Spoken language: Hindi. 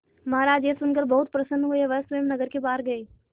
महाराज यह सुनकर बहुत प्रसन्न हुए वह स्वयं नगर के बाहर गए